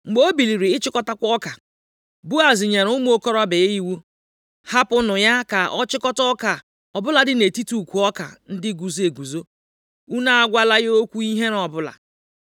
Mgbe o biliri ịchịkọtakwa ọka, Boaz nyere ụmụ okorobịa ya iwu, “Hapụnụ ya ka ọ chịkọta ọka ọ bụladị nʼetiti ukwu ọka ndị guzo eguzo, unu agwala ya okwu ihere ọbụla.